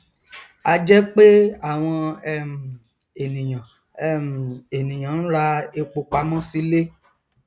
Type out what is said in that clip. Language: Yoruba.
ajẹ pé àwọn um ènìyàn um ènìyàn nra epo pamọ silé